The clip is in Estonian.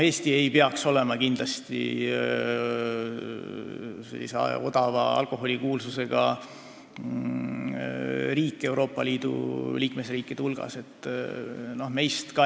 Eesti ei peaks Euroopa Liidus kindlasti mitte olema odava alkoholi kuulsusega riik.